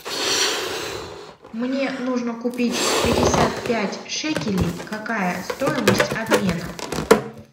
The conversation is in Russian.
мне нужно купить пятьдесят пять шекелей какая стоимость обмена